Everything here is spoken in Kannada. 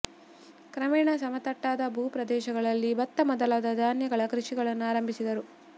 ಕ್ರಮೇಣ ಸಮತಟ್ಟಾದ ಭೂ ಪ್ರದೇಶಗಳಲ್ಲಿ ಭತ್ತ ಮೊದಲಾದ ಧಾನ್ಯಗಳ ಕೃಷಿಗಳನ್ನು ಆರಂಭಿಸಿದರು